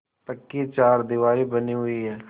पक्की चारदीवारी बनी हुई है